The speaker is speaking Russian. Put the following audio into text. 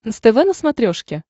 нств на смотрешке